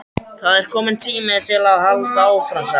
Það er kominn tími til að halda áfram sagði hann.